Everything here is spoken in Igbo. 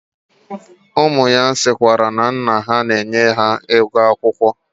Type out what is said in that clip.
Umu ya sikwara na nna ha na-enye ha ego akwukwo.